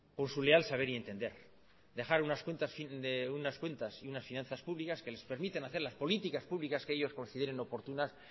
por su leal saber y entender dejar unas cuentas y unas finanzas públicas que les permiten hacer las políticas públicas que ellos consideren oportunas